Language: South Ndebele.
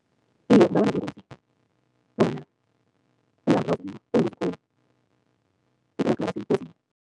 Iye,